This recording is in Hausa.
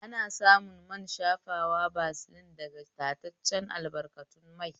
Ana samun man shafawa basilin daga tataccen albarkatun mai